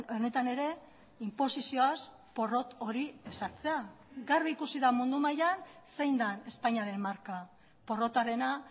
honetan ere inposizioaz porrot hori ezartzea garbi ikusi da mundu mailan zein den espainiaren marka porrotarena